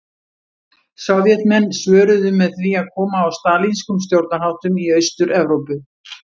Sovétmenn svöruðu með því að koma á stalínískum stjórnarháttum í Austur-Evrópu.